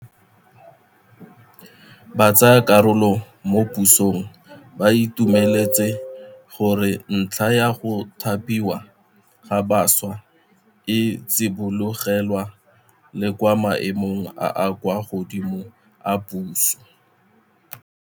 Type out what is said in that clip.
Batsayakarolo mo puisanong ba itumeletse gore ntlha ya go thapiwa ga baswa e tsibogelwa le kwa maemong a a kwa godimo a puso.